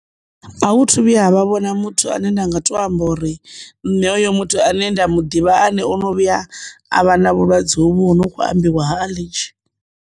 A hu thu vhuya havha vhona muthu ane nda nga to amba uri nṋe hoyo muthu ane nda mu ḓivha ane ono vhuya a vha na vhulwadze hovhu hu no kho ambiwa ha a ḽinzhi.